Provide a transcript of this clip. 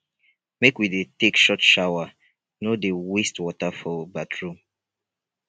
make we dey take short shower no dey waste water for bathroom